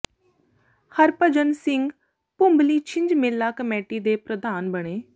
ਹਰਭਜਨ ਸਿੰਘ ਭੁੰਬਲੀ ਛਿੰਝ ਮੇਲਾ ਕਮੇਟੀ ਦੇ ਪ੍ਰਧਾਨ ਬਣੇ